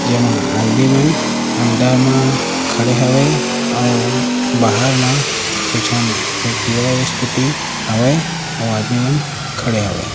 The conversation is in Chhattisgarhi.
जेमा आदमी मन अंडा म खड़े हवे अउ बहार माँ झन एक्टिवा स्कूटी हावे अउ आदमी मन खड़े हवे ।